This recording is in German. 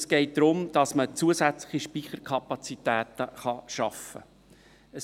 Es geht darum, dass man zusätzliche Speicherkapazitäten schaffen kann.